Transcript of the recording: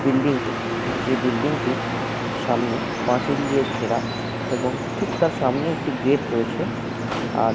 building কে সেই building টির সামনে পাঁচিল দিয়ে ঘেরা এবং ঠিক তার সামনে একটি গেট রয়েছে আর --